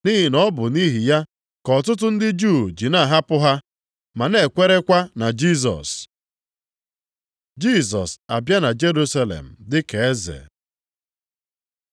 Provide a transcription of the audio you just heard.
Nʼihi na ọ bụ nʼihi ya ka ọtụtụ ndị Juu ji na-ahapụ ha ma na-ekwerekwa na Jisọs. Jisọs abịa na Jerusalem dị ka Eze